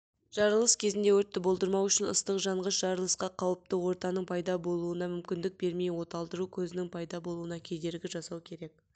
жарылыс кезінде өртті болдырмау үшін ыстық жанғыш жарылысқа қауіпті ортаның пайда болуына мүмкіндік бермей оталдыру көзінің пайда болуына кедергі жасау керек